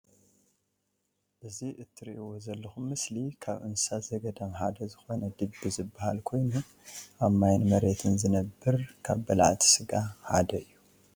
እዚ ትርእዎ ዘለኩም ምስሊ ካብ እንስሳ ዘገዳም ሓደ ዝኮነ ድቢ ዝባሃል ። ኮይኑ ኣብ ማይን መሬትን ዝነብር ካብ በላዕቲ ስጋ ሓደ እዩ።